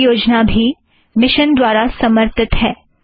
यह परियोजना भी इस मिशन द्वारा समर्थित है